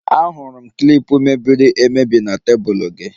Ahụrụ m klip mebiri emebi na tebụl gị